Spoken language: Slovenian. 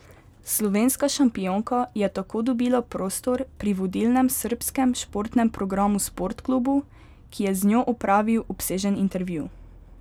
Slovenska šampionka je tako dobila prostor pri vodilnem srbskem športnem programu Sportklubu, ki je z njo opravil obsežen intervju.